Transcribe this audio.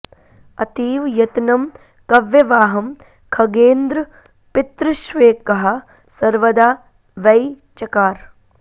अतीव यत्नं कव्यवाहं खगेन्द्र पितृष्वेकः सर्वदा वै चकार